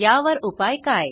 यावर उपाय काय